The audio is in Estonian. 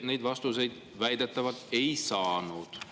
Neid vastuseid ta väidetavalt ei saanud.